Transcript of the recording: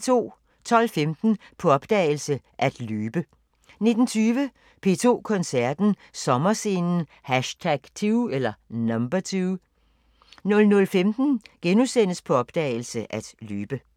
12:15: På opdagelse – At løbe 19:20: P2 Koncerten – Sommerscenen #2 00:15: På opdagelse – At løbe *